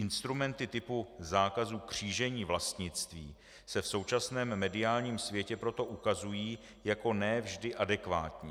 Instrumenty typu zákazu křížení vlastnictví se v současném mediálním světě proto ukazují jako ne vždy adekvátní.